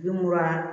Bi mura